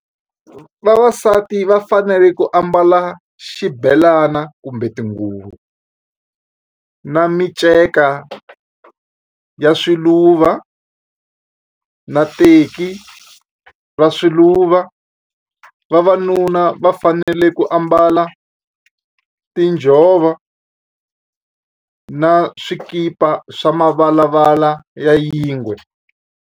Vavasati va fanele ku ambala xibelana kumbe tinguvu na miceka ya swiluva na teki va swiluva vavanuna va fanele ku ambala tinjhovo na swikipa swa mavalavala ya yingwe.